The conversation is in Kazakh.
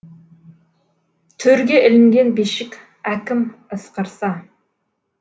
төрге ілінген бишік әкім ысқырса